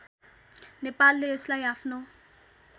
नेपालले यसलाई आफ्नो